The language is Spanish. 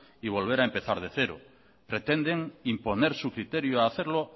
y volver a empezar desde cero pretenden imponer su criterio a hacerlo